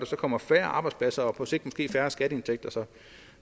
kommer færre arbejdspladser og på sigt måske færre skatteindtægter